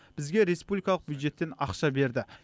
бізге республикалық бюджеттен ақша берді